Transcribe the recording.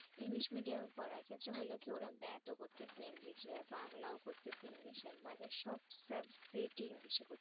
english medium পড়ার ক্ষেত্রে হইল কি ওরা math ও করতেছে english এ বাংলাও করতেছে english মানে সব subject english করতেছে